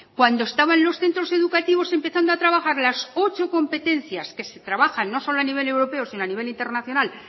cuando estaban los centros educativos empezando a trabajar las ocho competencias que se trabajan no solo a nivel europeo sino a nivel internacional